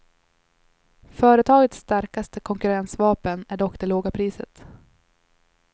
Företagets starkaste konkurrensvapen är dock det låga priset.